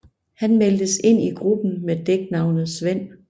Han meldtes ind i gruppen med dæknavnet Svend